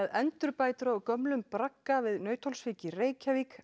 endurbætur á gömlum bragga við Nauthólsvík í Reykjavík